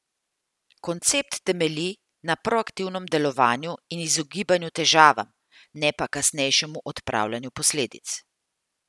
Koncept temelji na proaktivnem delovanju in izogibanju težavam, ne pa kasnejšem odpravljanju posledic.